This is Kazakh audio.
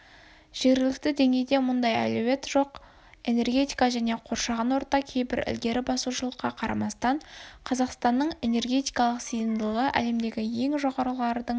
жергілікті деңгейде мұндай әлеует жоқ энергетика және қоршаған орта кейбір ілгері басушылыққа қарамастан қазақстанның энергетикалық сыйымдылығы әлемдегі ең жоғарғылардың